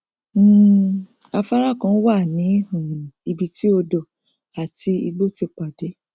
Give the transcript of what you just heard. um afárá kan wà ní um ibi tí odò àti igbó ti pàdé